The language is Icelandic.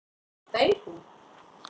Deyr hún?